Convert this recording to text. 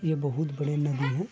ये बहुत बड़ी नदी है।